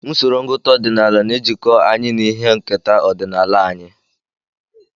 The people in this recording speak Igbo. Usoro ngụta ọdịnala na-ejikọ anyị na ihe nketa ọdịnala anyị.